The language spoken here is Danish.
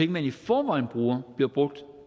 man i forvejen bruger bliver brugt